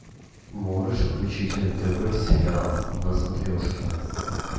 можешь включить нтв сериал на смотрешке